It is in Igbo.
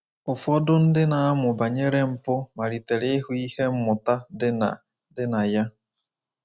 Ụfọdụ ndị na-amụ banyere mpụ malitere ịhụ ihe mmụta dị na dị na ya.